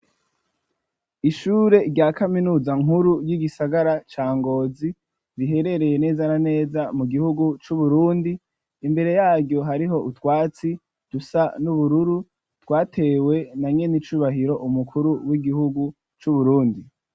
Ishure rya kaminuza nkuru yi gisagara ca Ngozi biherereye neza na neza mu gihugu cu Burundi imbere yaryo hariho utwatsi rusa n'ubururu twatewe na nyen'icubahiro umukuru w'igihugu cu Burundi.